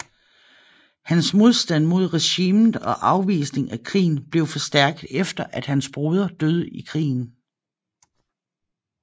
Hans modstand mod regimet og afvisning af krigen blev forstærket efter at hans broder døde i krigen